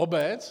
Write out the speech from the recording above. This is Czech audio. Obec?